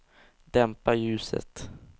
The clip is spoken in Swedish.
dämpa ljuset